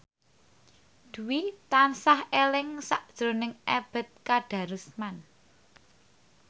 Dwi tansah eling sakjroning Ebet Kadarusman